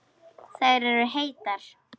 Þær eru heitar.